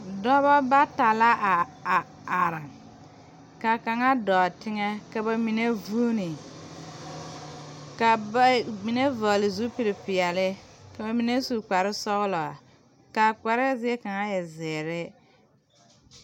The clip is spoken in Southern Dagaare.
Dɔbɔ bata la a are ka kaŋa dɔɔ teŋɛ ka ba mine vuune ka ba mine vɔgle zupilpeɛle ka ba mine su kparesɔglɔ kaa kparɛɛ zie kaŋa e zeere.